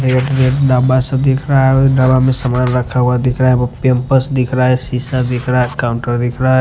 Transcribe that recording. एक सा दिख रहा है डबा में समान रखा हुआ दिख रहा है वो पैम्पर्स दिख रहा है शीशा दिख रहा है काउंटर दिख रहा है।